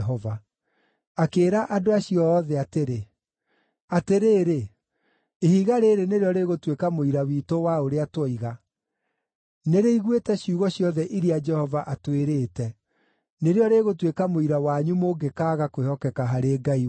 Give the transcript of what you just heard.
Akĩĩra andũ acio othe atĩrĩ, “Atĩrĩrĩ! Ihiga rĩĩrĩ nĩrĩo rĩgũtuĩka mũira witũ wa ũrĩa tuoiga. Nĩrĩiguĩte ciugo ciothe iria Jehova atwĩrĩte. Nĩrĩo rĩgũtuĩka mũira wanyu mũngĩkaaga kwĩhokeka harĩ Ngai wanyu.”